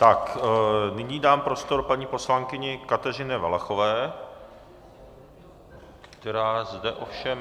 Tak nyní dám prostor paní poslankyni Kateřině Valachové, která zde ovšem...